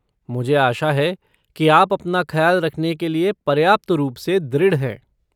मुझे आशा है कि आप अपना ख्याल रखने के लिए पर्याप्त रूप से दृढ़ हैं।